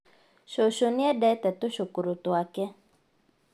Cucu nĩendete tũcukũrũ twake